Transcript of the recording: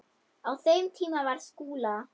Á þeim tíma var Skúla